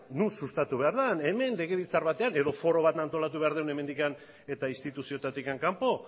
non sustatu behar den hemen legebiltzar batean edo foro bat antolatu behar dugun hemendik eta instituzioetatik kanpo